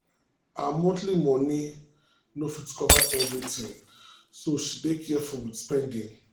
her monthly moni no fit cover everything so she dey careful with spending.